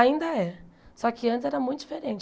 Ainda é. Só que antes era muito diferente.